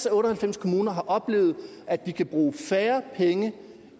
af otte og halvfems kommuner har oplevet at de kan bruge færre penge